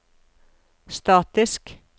statisk